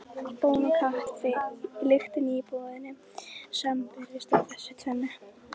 Bón og kaffi lyktin í íbúðinni sambreyskja af þessu tvennu.